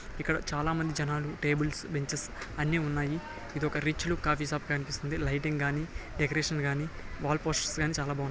ఇక్కడ చాలా మంది జనాలు టేబుల్స్ బెంచెస్ అన్ని ఉన్నాయి ఇది ఒక రిచ్ లుక్ ఆఫీస్ లాగా కనిపిస్తుంది లైటింగ్ కానీ డెకరేషన్ కానీ వాల్ పోస్టర్స్ కానీ చాలా బాగున్నాయి.